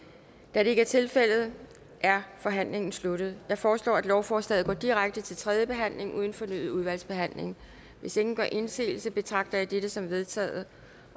da det ikke er tilfældet er forhandlingen sluttet jeg foreslår at lovforslaget går direkte til tredje behandling uden fornyet udvalgsbehandling hvis ingen gør indsigelse betragter jeg dette som vedtaget